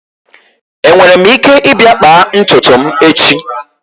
Enwere m ike ịbịa kpaa ntutu m echi?